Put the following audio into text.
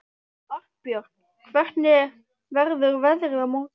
Arnbjörn, hvernig verður veðrið á morgun?